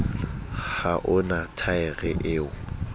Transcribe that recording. ha o na thaere eo